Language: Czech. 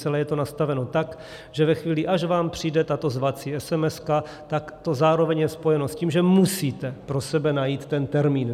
Celé je to nastaveno tak, že ve chvíli, až vám přijde tato zvací esemeska, tak to zároveň je spojeno s tím, že musíte pro sebe najít ten termín.